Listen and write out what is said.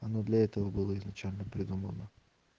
оно для этого было изначально придумано